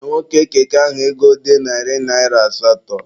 Nye nwoke keke ahụ ego dị narị naịra asatọ!